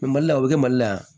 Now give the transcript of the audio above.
mali la o bɛ kɛ mali la yan